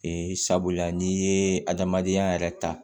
Ee sabula n'i ye adamadenya yɛrɛ ta